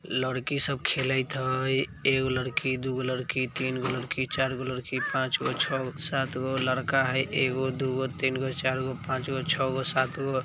लड़की सब खेलत हइ ए गो लड़की दु गो लड़की तिन गो लड़की चार गो लड़की पाँच गो छगो सात गो लड़का है ए गो दु गो तिन गो चार गो पाँच गो छव गो सात गो--